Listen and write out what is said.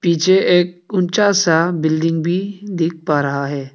पीछे एक ऊंचा सा बिल्डिंग भी दिख पा रहा है।